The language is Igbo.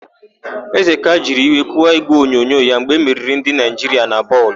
Ezeka jiri iwe kụwaa ígwèonyonyo ya mgbe emeriri ndị Naịjiria na bọọlụ.